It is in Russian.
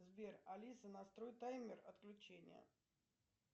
сбер алиса настрой таймер отключения